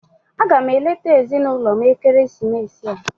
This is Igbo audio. Aga m eleta ezinụlọ m ekeresimesi a.